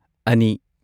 ꯑꯅꯤ